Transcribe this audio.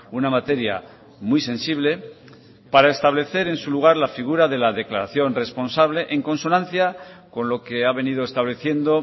una materia muy sensible para establecer en su lugar la figura de la declaración responsable en consonancia con lo que ha venido estableciendo